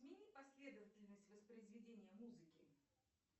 смени последовательность воспроизведения музыки